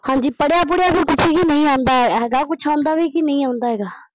ਹਾਂਜੀ ਪੜਿਆ ਪੁੜਿਆ ਵੀ ਕੁੱਝ ਹੀ ਨੀ ਆਉਂਦਾ ਹੈਗਾ ਕੁੱਝ ਆਉਂਦਾ ਵੀ ਨੀ ਆਉਂਦਾ ਹੈਗਾ।